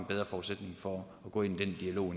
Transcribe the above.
bedre forudsætning for at gå ind i den dialog